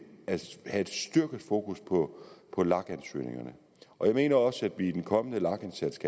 at have et styrket fokus på på lag ansøgningerne jeg mener også at vi i den kommende lag indsats